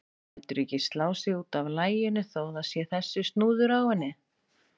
Lætur ekki slá sig út af laginu þó að það sé þessi snúður á henni.